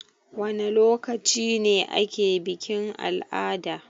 Wana lokaci ne ake bikin-al'ada?